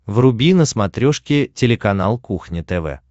вруби на смотрешке телеканал кухня тв